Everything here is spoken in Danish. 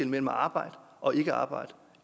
mellem arbejde og ikkearbejde